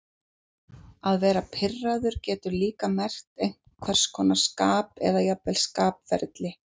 Að vera pirraður getur líka merkt einhvers konar skap eða jafnvel skapferli.